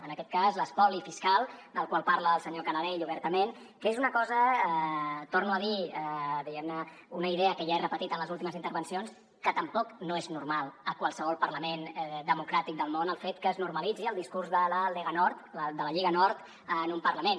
en aquest cas l’espoli fiscal del qual parla el senyor canadell obertament que és una cosa torno a dir diguem ne una idea que ja he repetit en les últimes intervencions que tampoc no és normal a qualsevol parlament democràtic del món el fet que es normalitzi el discurs de la lega nord de la lliga nord en un parlament